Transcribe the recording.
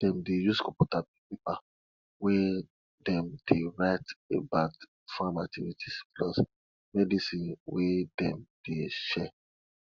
dem dey use computer make paper wey dem dey write about farm activities plus medicine wey dem dey share